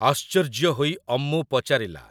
ଆଶ୍ଚର୍ଯ୍ୟ ହୋଇ ଅମ୍ମୁ ପଚାରିଲା ।